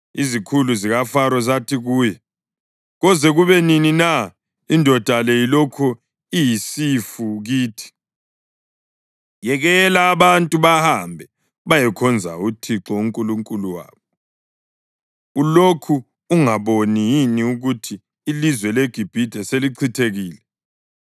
Izikhulu zikaFaro zathi kuye, “Koze kube nini na indoda le ilokhu iyisifu kithi? Yekela abantu bahambe bayekhonza uThixo uNkulunkulu wabo. Ulokhu ungaboni yini ukuthi ilizwe leGibhithe selichithekile?”